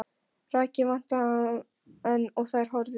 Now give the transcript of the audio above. Þakið vantaði enn og þær horfðu upp í himininn.